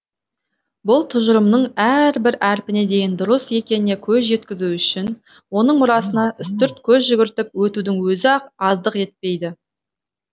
бұл тұжырымның әрбір әрпіне дейін дұрыс екеніне көз жеткізу үшін оның мұрасына үстірт көз жүгіртіп өтудің өзі ақ аздық етпейді